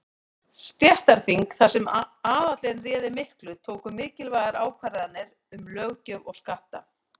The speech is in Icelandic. Stéttaþing, þar sem aðallinn réði miklu, tóku mikilvægar ákvarðanir um löggjöf og skatta.